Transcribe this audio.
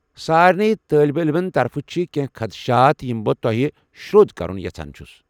سارنٕے طٲلب علمن ہٕنٛدِ طرفہٕ چھِ کینٛہہ خدشات یم بہٕ تۄہہِ شر٘و٘دِ كرُن یژھان چھُس ۔